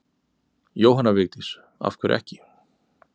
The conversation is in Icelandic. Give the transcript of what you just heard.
Jóhanna Vigdís: Af hverju ekki?